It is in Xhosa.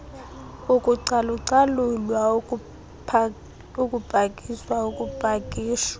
ukucalucalulwa ukupakishwa ukupakishwa